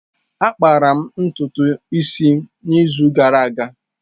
Akpara m ntutu isi n’izu gara aga.